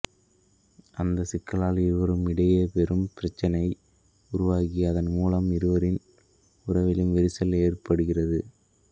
அந்தச் சிக்கலால் இருவருக்கும் இடையே பெரும் பிரச்சனை உருவாகி அதன் மூலம் இருவரின் உறவிலும் விரிசல் ஏற்படுகிறது